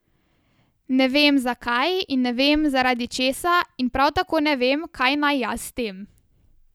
Ne vem, zakaj in ne vem, zaradi česa in prav tako ne vem, kaj naj jaz s tem.